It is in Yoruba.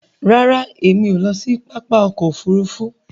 Ràrá Èmi o ló sì pápá ọkọ òfurufú.